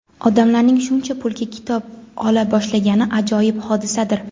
odamlarning shuncha pulga kitob ola boshlagani ajoyib hodisadir!.